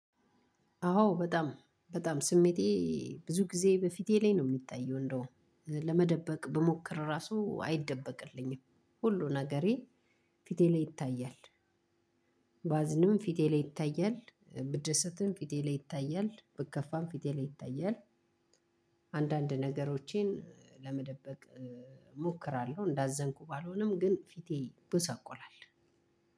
አወ በጣም በጣም ስሜቴ ብዙ ጊዜ በፊቴ ላይ ነው የሚታየው እንደውም ለመደበቅ ብሞክ እራሱ አይደበቅልኝም ሁሉም ነገሬ ፊቴ ላይ ይታያል። ባዝንም ፊቴ ላይ ይታያል ብደሰትም ፊቴ ላይ ይታያል ብከፋም ፊቴ ላይ ይታያል። አንዳንድ ነገሮቼን ለመደበቅ እሞክራለሁ እንዳዘንኩ ባልሆንም ግን ፊቴ ይጎሳቆላል።